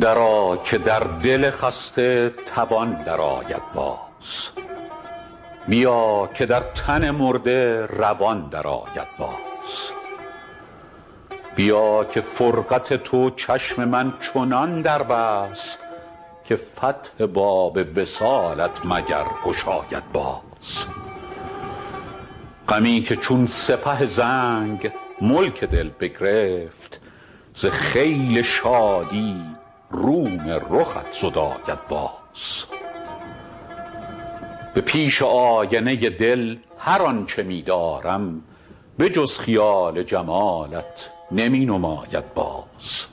درآ که در دل خسته توان درآید باز بیا که در تن مرده روان درآید باز بیا که فرقت تو چشم من چنان در بست که فتح باب وصالت مگر گشاید باز غمی که چون سپه زنگ ملک دل بگرفت ز خیل شادی روم رخت زداید باز به پیش آینه دل هر آن چه می دارم به جز خیال جمالت نمی نماید باز